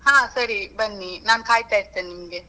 ಹಾ ಸರಿ ಬನ್ನಿ, ನಾನ್ ಕಾಯಿತಾ ಇರ್ತೇನೆ ನಿಮ್ಗೆ.